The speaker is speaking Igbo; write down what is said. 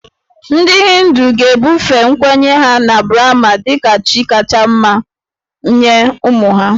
Ndị Hindu ga-ebufe nkwenye ha na Brahma dị ka chi kacha mma nye ụmụ ha